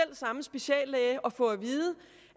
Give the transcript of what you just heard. samme speciallæge og få at vide